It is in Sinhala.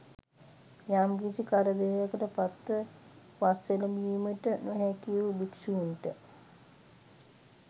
යම්කිසි කරදරයකට පත්ව වස් එළඹීමට නො හැකි වූ භික්ෂූන්ට